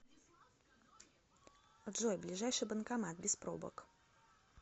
джой ближайший банкомат без пробок